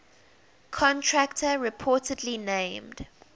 contractor reportedly named